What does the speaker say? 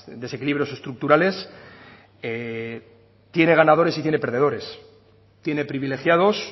desequilibrios estructurales tiene ganadores y tiene perdedores tiene privilegiados